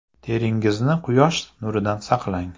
Teringizni quyosh nuridan saqlang.